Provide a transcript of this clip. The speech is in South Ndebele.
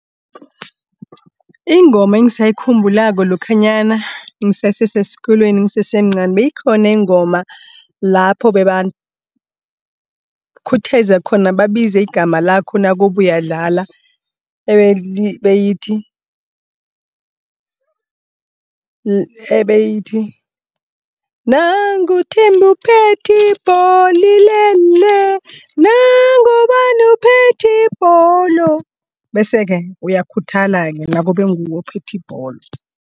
Ingoma engisayikhumbulako lokhanyana ngisese seskolweni, ngisese mncani beyikhona ingoma lapho bebakhutheza khona babize igama lakho nakube uyadlala. Ebeyithi, nangu uThembi uphethi ibholo ilele, nangu ubani uphethi ibholo. Bese-ke uyakhuthala-ke nakube nguwe ophethe ibholo.